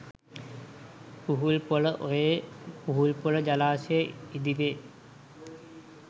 පුහුල්පොළ ඔයේ පුහුල්පොළ ජලාශය ඉදි වේ